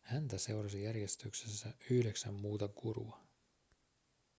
häntä seurasi järjestyksessä yhdeksän muuta gurua